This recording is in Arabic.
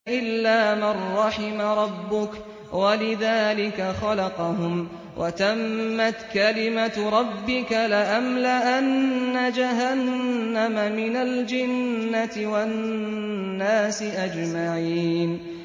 إِلَّا مَن رَّحِمَ رَبُّكَ ۚ وَلِذَٰلِكَ خَلَقَهُمْ ۗ وَتَمَّتْ كَلِمَةُ رَبِّكَ لَأَمْلَأَنَّ جَهَنَّمَ مِنَ الْجِنَّةِ وَالنَّاسِ أَجْمَعِينَ